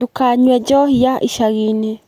Ndũkanyue njohi ya icagi-inĩ.